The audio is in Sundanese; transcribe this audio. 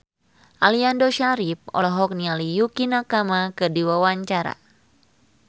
Aliando Syarif olohok ningali Yukie Nakama keur diwawancara